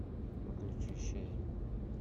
включи ши